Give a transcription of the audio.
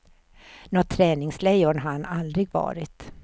Nåt träningslejon har han aldrig varit.